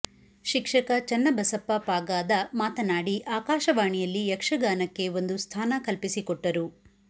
ಶಿಕ್ಷಕ ಚನ್ನಬಸಪ್ಪ ಪಾಗಾದ ಮಾತನಾಡಿ ಆಕಾಶವಾಣಿಯಲ್ಲಿ ಯಕ್ಷಗಾನಕ್ಕೆ ಒಂದು ಸ್ಥಾನ ಕಲ್ಪಿಸಿಕೊಟ್ಟರು